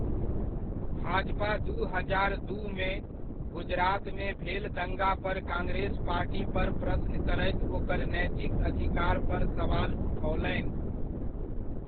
भाजपा दू हजार दूमे, गुजरातमे भेल दंगापर कांग्रेस पार्टीपर प्रश्न करैत ओकर नैतिक अधिकारपर सवाल उठओलनि।